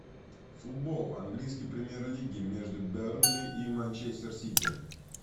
футбол английский премьер лиги между бернли и манчестер сити